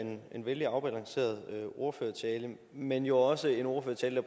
vældig afbalanceret ordførertale men jo også en ordførertale